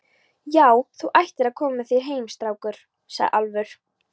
Já, þú ættir að koma þér heim, strákur, sagði Álfur.